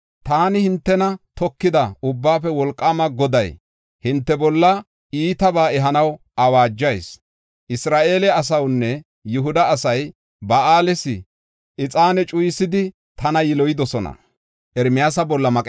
Taani, hintena tokida Ubbaafe Wolqaama Goday, hinte bolla iitabaa ehanaw awaajas. Isra7eele asaynne Yihuda asay Ba7aales ixaane cuyisidi tana yiloyidosona.